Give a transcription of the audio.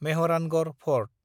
Mehrangarh fort